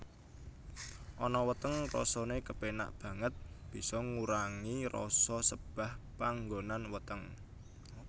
Ana weteng rasane kepenak banget bisa ngurangi rasa sebah panggonan weteng